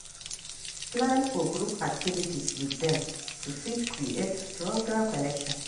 Plan for group activities with dem to fit create stronger connection